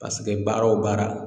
baara o baara